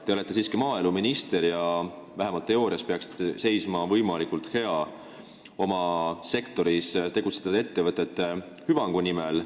Te olete maaeluminister ja peaksite vähemalt teoorias seisma võimalikult hea oma sektoris tegutsevate ettevõtete hüvangu eest.